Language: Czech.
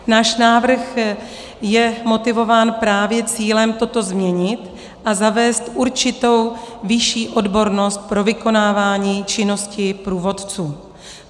Náš návrh je motivován právě cílem toto změnit a zavést určitou vyšší odbornost pro vykonávání činnosti průvodců.